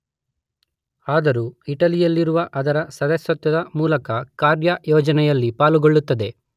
ಆದರೂ ಇಟಲಿ ಯಲ್ಲಿರುವ ಅದರ ಸದಸ್ಯತ್ವದ ಮೂಲಕ ಕಾರ್ಯಯೋಜನೆಯಲ್ಲಿ ಪಾಲ್ಗೊಳ್ಳುತ್ತದೆ.